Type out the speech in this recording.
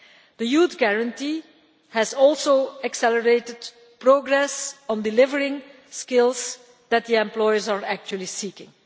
The Youth Guarantee has also accelerated progress on delivering the skills that employers are actually seeking.